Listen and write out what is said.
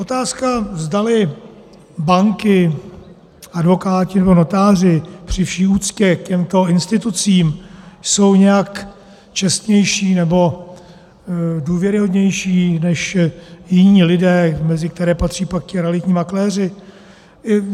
Otázka, zdali banky, advokáti nebo notáři, při vší úctě k těmto institucím, jsou nějak čestnější nebo důvěryhodnější než jiní lidé, mezi které patří pak ti realitní makléři...